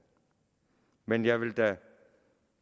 men jeg vil da